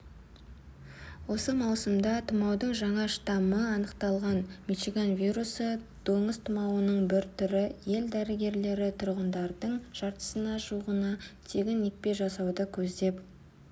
осы маусымда тұмаудың жаңа штаммы анықталған мичиган вирусы доңыз тұмауының бір түрі ел дәрігерлері тұрғындардың жартысына жуығына тегін екпе жасауды көздеп